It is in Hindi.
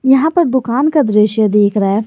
यहा पर दुकान का दृश्य देख रहा है।